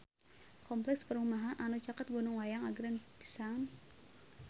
Kompleks perumahan anu caket Gunung Wayang agreng pisan